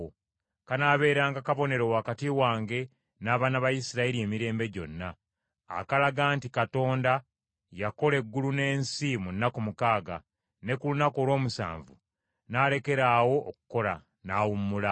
Kanaabeeranga kabonero wakati wange n’abaana ba Isirayiri emirembe gyonna, akalaga nti Mukama yakola eggulu n’ensi mu nnaku mukaaga, ne ku lunaku olw’omusanvu n’alekeraawo okukola, n’awummula.’ ”